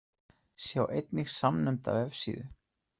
Sjá einnig samnefnda vefsíðu.